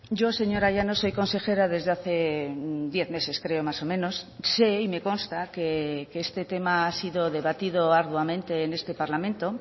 yo señora llanos soy consejera desde hace diez meses creo más o menos sé y me consta que este tema ha sido debatido arduamente en este parlamento